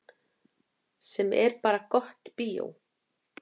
Sem er bara gott bíó.